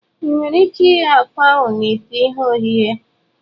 Ị nwere ike ighe akwa ahụ na ite ihe ohihe.